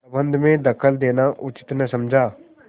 प्रबंध में दखल देना उचित न समझा